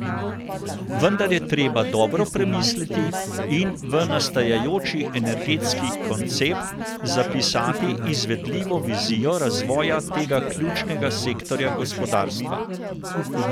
Vendar je treba dobro premisliti in v nastajajoči energetski koncept zapisati izvedljivo vizijo razvoja tega ključnega sektorja gospodarstva.